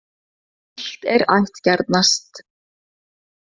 Illt er ættgjarnast.